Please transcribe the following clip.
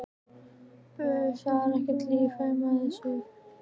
Uss, það er ekki líft heima fyrir þusinu í henni.